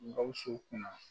Gawusu kun na